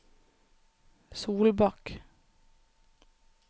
Solbakk